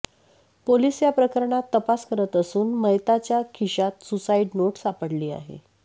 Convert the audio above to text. police या प्रकरणात तपास करत असून मयताच्या खिशात सुसाईड नोट सापडली आहे